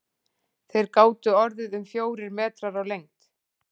Þeir gátu orðið um fjórir metrar á lengd.